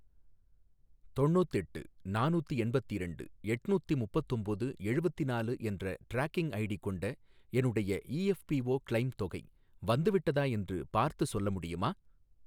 தொண்ணூத்தெட்டு நானூத்தி எண்பத்திரண்டு எட்நூத்தி முப்பத்தொம்போது எழுவத்திநாலு என்ற ட்ராக்கிங் ஐடி கொண்ட என்னுடைய இஎஃப்பிஓ கிளெய்ம் தொகை வந்துவிட்டதா என்று பார்த்துச் சொல்ல முடியுமா?